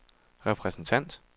repræsentant